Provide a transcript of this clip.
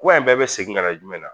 Kuma in bɛɛ bi segin kana jumɛn na ?